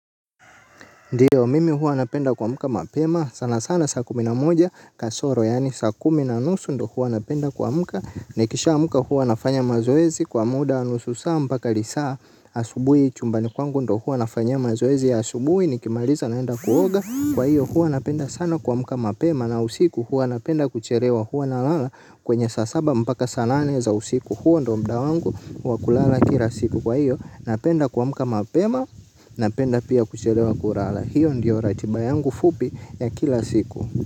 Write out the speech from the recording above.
Ndiyo mimi huwa napenda kuamka mapema sana sana saa kumi na moja kasoro yaani saa kumi na nusu ndiyo huwa napenda kuamka nikishaamka huwa nafanya mazoezi kwa muda wa nusu saa mpaka lisaa asubuhi chumbani kwangu ndiyo huwa nafanyia mazoezi ya asubuhi. Nikimaliza naenda kuoga kwa hiyo huwa napenda sana kuamka mapema na usiku huwa napenda kuchelewa huwa nalala kwenye saa saba mpaka saa nane za usiku huo ndio muda wangu wa kulala kila siku kwa hiyo napenda kuamka mapema napenda pia kuchelewa kulala. Hiyo ndiyo ratiba yangu fupi ya kila siku.